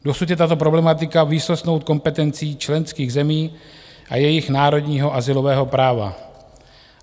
Dosud je tato problematika výsostnou kompetencí členských zemí a jejich národního azylového práva.